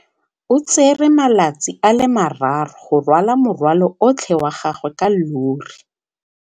O tsere malatsi a le marraro go rwala morwalo otlhe wa gagwe ka llori.